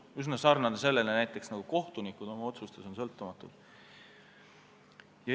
See on üsna sarnane sellega, nagu kohtunikud on oma otsustes sõltumatud.